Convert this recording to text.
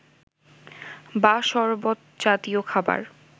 বা সরবত জাতীয় খাবার